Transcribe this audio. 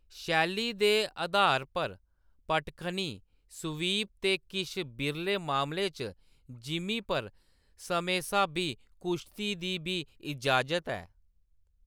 शैली दे आधार पर, पटखनी, स्वीप ते किश बिरले मामलें च जिमीं पर समें-स्हाबी कुश्ती दी बी इजाज़त ऐ।